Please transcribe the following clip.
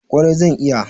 Kwarai zan iya.